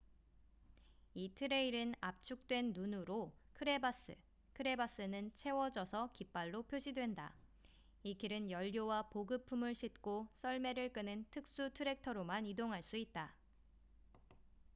이 트레일은 압축된 눈으로 크레바스crevasse는 채워져서 깃발로 표시된다. 이 길은 연료와 보급품을 싣고 썰매를 끄는 특수 트랙터로만 이동할 수 있다